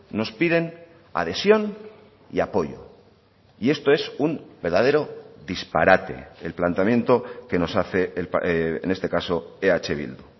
nos piden adhesión y apoyo y esto es un verdadero disparate el planteamiento que nos hace en este caso eh bildu